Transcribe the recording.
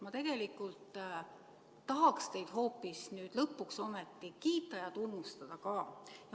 Ma tegelikult tahaksin teid hoopis nüüd lõpuks kiita ja tunnustada ka.